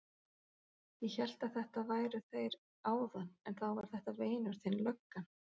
Ég hélt að þetta væru þeir áðan en þá var þetta vinur þinn löggan.